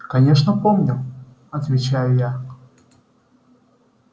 конечно помню отвечаю я